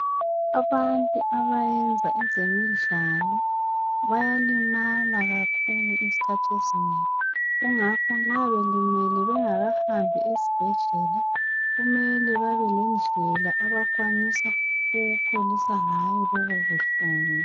Abantu abayenza ezemidlalo bayalimala kakhulu ezikhathi ezinengi, kungakho nxa belimele bengakahambi esibhedlela kumele babelendlela abakwanisa ukupholisa ngayo lobo buhlungu.